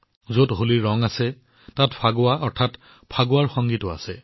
যত হোলীৰ ৰং আছে তাত ফাগৱাৰ সংগীতো আছে যাক ফাগুয়া বুলি কোৱা হয়